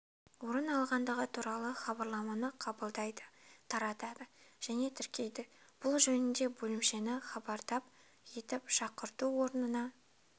орын алғандығы туралы хабарламаны қабылдайды таратады және тіркейді бұл жөнінде бөлімшені хабардап етіп шақырту орнына